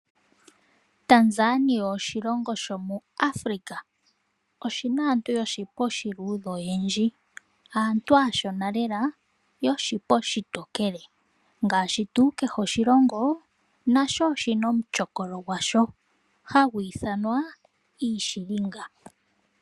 Tanzania oshilongo shomuAfrica . Oshina aantu yoshipa oshiluudhe oyendji . Aantu aashona lela yoshipa oshitookele ngaashi tuu kehe oshilongo nasho oshina omutyokolo gwasho ohagu ithanwa iishilinga.